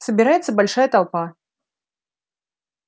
собирается большая толпа